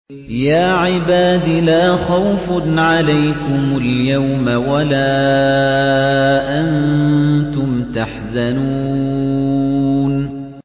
يَا عِبَادِ لَا خَوْفٌ عَلَيْكُمُ الْيَوْمَ وَلَا أَنتُمْ تَحْزَنُونَ